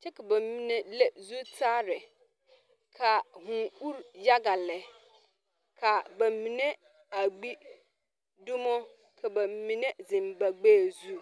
kyɛ ka ba mine leŋ zutare ka vuu uri yaga lɛ ka ba mine a gbi dumo ka ba mine ziŋ ba gbɛɛ zu.